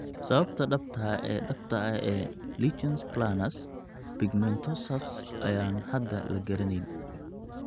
Sababta dhabta ah ee dhabta ah ee lichen planus pigmentosus ayaan hadda la garanayn.